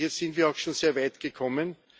Hier sind wir auch schon sehr weit gekommen.